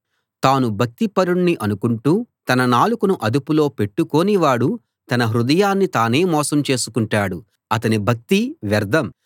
తాను భక్తిపరుణ్ణి అనుకుంటూ తన నాలుకను అదుపులో పెట్టుకోనివాడు తన హృదయాన్ని తానే మోసం చేసుకుంటాడు అతని భక్తి వ్యర్థం